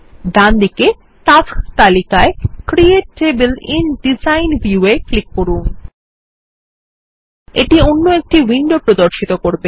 ডানদিকে টাস্কস তালিকায় create table in design view এ ক্লিক করুন এটি অন্য একটি উইন্ডো প্রর্দশিত করবে